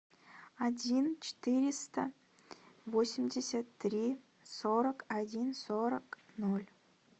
один четыреста восемьдесят три сорок один сорок ноль